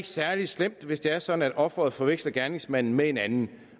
særlig slemt hvis det er sådan at offeret forveksler gerningsmanden med en anden